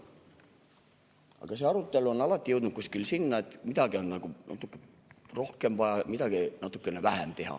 Aga see arutelu on alati jõudnud kuskile sinna, et midagi on nagu natuke rohkem vaja teha ja midagi natuke vähem.